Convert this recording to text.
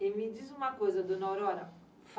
E me diz uma coisa, Dona Aurora.